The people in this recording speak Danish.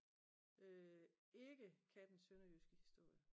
Øh ikke kan den sønderjyske historie